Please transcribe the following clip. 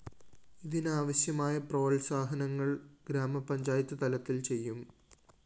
ഇതിനാവശ്യമായ പ്രോത്സാഹനങ്ങള്‍ ഗ്രാമ പഞ്ചായത്ത് തലത്തില്‍ ചെയ്യും